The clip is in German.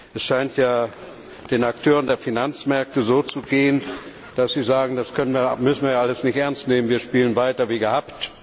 Es scheint ja den Akteuren der Finanzmärkte so zu gehen, dass sie sagen, das müssen wir ja alles nicht ernst nehmen, wir spielen weiter wie gehabt.